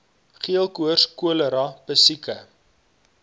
geelkoors cholera pessiekte